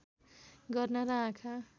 गर्न र आँखा